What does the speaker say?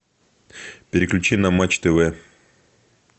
переключи на матч тв